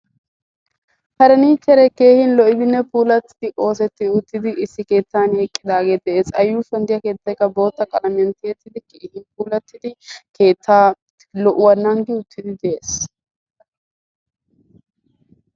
faaranichere keehi lo"iddinne puulatidi oosettid uttiddi issi keettan eqqidaage de'ees; a yuushuwaan diyaa keettaykka bootta qalamiyaan tiyettida giigi puulatiddi keettaa lo"uwaa nanggi uttidi de'ees